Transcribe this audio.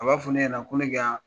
A b'a fɔ ne ɲɛna ko ne ka